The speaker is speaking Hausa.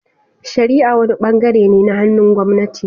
Shari'a wani bangare ne na hannun gwamnati.